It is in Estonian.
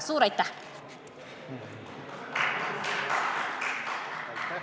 Suur aitäh!